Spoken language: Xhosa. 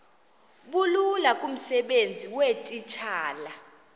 bulula kumsebenzi weetitshala